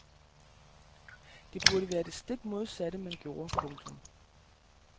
Det burde være det stik modsatte man gjorde. punktum